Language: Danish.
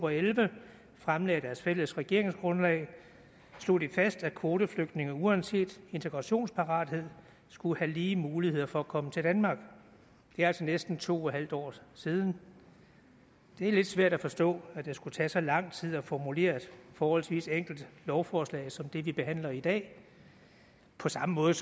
og elleve fremlagde deres fælles regeringsgrundlag slog de fast at kvoteflygtninge uanset integrationsparathed skulle have lige muligheder for at komme til danmark det er altså næsten to en halv år siden det er lidt svært at forstå at det skulle tage så lang tid at formulere et forholdsvis enkelt lovforslag som det vi behandler i dag på samme måde